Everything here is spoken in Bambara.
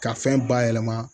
Ka fɛn bayɛlɛma